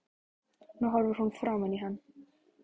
Nú horfir hún framan í hann.